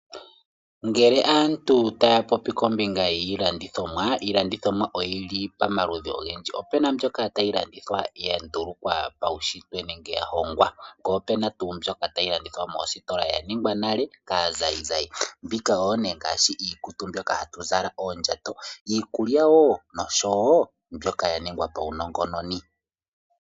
Ngele aantu taya popi kombinga yiilandithomwa , iilandithomwa oyili pamaludhi ogendji . Opena iilandithomwa tayi landithwa ya ndulukwa pa u shitwe nenge ya hongwa , poo pena tuu mbyoka tayi adhika moositola ya ningwa nale kaa zayizayi. Mbika oyo nee iinima ngaashi ikutu mbyoka hatu zala , oondjato. Iikulya woo nosho woo mbyoka yaningwa pawu nongononi.